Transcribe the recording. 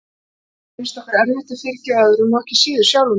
En oft reynist okkur erfitt að fyrirgefa öðrum og ekki síður sjálfum okkur.